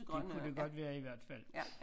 Det kunne det godt være i hvert fald